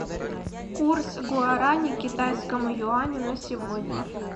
курс гуарани к китайскому юаню на сегодня